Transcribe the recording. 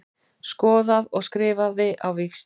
Skoðaði og skrifaði á víxl.